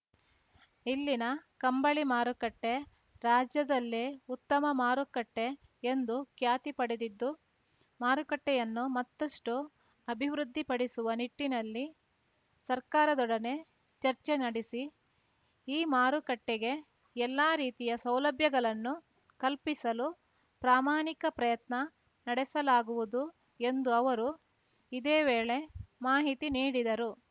ಇಲ್ಲಿನ ಕಂಬಳಿ ಮಾರುಕಟ್ಟೆರಾಜ್ಯದಲ್ಲೇ ಉತ್ತಮ ಮಾರುಕಟ್ಟೆಎಂದು ಖ್ಯಾತಿ ಪಡೆದಿದ್ದು ಮಾರುಕಟ್ಟೆಯನ್ನು ಮತ್ತಷ್ಟುಅಭಿವೃದ್ಧಿಪಡಿಸುವ ನಿಟ್ಟಿನಲ್ಲಿ ಸರ್ಕಾರದೊಡನೆ ಚರ್ಚೆ ನಡೆಸಿ ಈ ಮಾರುಕಟ್ಟೆಗೆ ಎಲ್ಲಾ ರೀತಿಯ ಸೌಲಭ್ಯಗಳನ್ನು ಕಲ್ಪಿಸಲು ಪ್ರಾಮಾಣಿಕ ಪ್ರಯತ್ನ ನಡೆಸಲಾಗುವುದು ಎಂದು ಅವರು ಇದೇ ವೇಳೆ ಮಾಹಿತಿ ನೀಡಿದರು